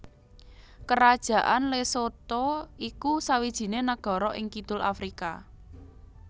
Kerajaan Lesotho iku sawijiné nagara ing kidul Afrika